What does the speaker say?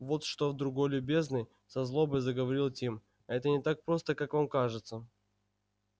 вот что друг любезный со злобой заговорил тим это не так просто как вам кажется